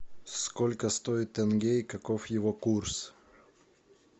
сколько стоит тенге и каков его курс